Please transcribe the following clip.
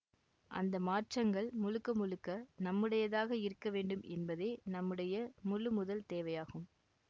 அந்த மாற்றங்கள் முழுக்க முழுக்க நம்முடையதாக இருக்க வேண்டும் என்பதே நம்முடைய முழு முதல் தேவையாகும்